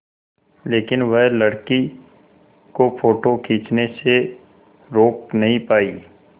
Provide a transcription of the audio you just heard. लेकिन वह लड़की को फ़ोटो खींचने से रोक नहीं पाई